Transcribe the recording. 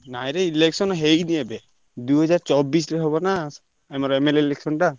ନାଇରେ election ହେଇନି ଏବେ। ଦୁଇହଜାର ଚବିଶିରେ ହବ ନା, ଆମର MLA election ଟା।